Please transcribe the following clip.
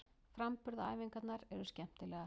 Framburðaræfingarnar eru skemmtilegar.